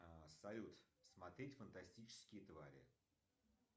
салют смотреть фантастические твари